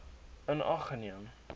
in ag geneem